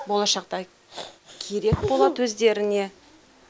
болашақта керек болады өздеріне